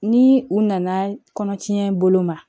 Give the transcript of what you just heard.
Ni u nana kɔnɔtiɲɛ bolo ma